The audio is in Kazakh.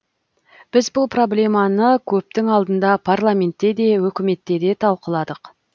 біз бұл проблеманы көптің алдында парламентте де үкіметте де талқыладық